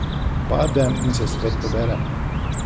Padem in se spet poberem.